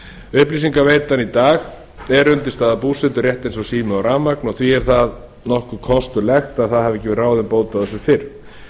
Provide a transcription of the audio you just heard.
upplýsingaveitan í dag er undirstaða búseturéttar eins og sími og rafmagn og því er að nokkuð kostulegt að það hafi ekki verið ráðin bót á þessu fyrr